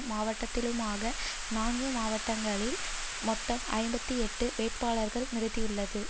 மாவட்டத்திலுமாக நான்கு மாவட்டங்களில் மொத்தம் ஐம்பத்தி எட்டு வேட்பாளர்களை நிறுத்தியுள்ளது